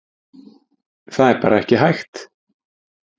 Það er bara ekki hægt.